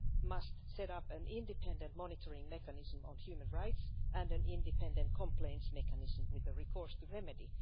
must set up an independent monitoring mechanism on human rights and an independent complaints mechanism with the recourse to remedy.